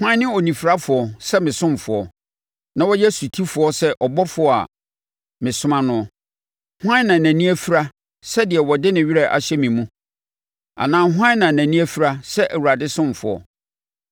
Hwan ne ɔnifirafoɔ sɛ me ɔsomfoɔ, na ɔyɛ ɔsotifoɔ sɛ ɔbɔfoɔ a mesoma noɔ? Hwan na nʼani afira sɛ deɛ ɔde ne werɛ ahyɛ me mu? Anaa hwan na nʼani afira sɛ Awurade ɔsomfoɔ?